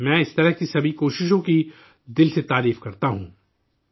میں اس قسم کی تمام کوششوں کی تہ دل سے تعریف کرتا ہوں